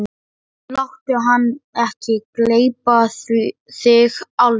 Láttu hann ekki gleypa þig alveg!